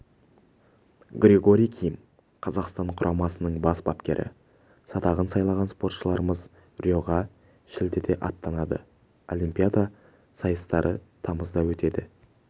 григорий ким қазақстан құрамасының бас бапкері садағын сайлаған спортшыларымыз риоға шілдеде аттанады олимпиада сайыстары тамызда өтеді